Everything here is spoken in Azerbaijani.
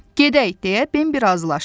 Gedək, deyə Bembi razılaşdı.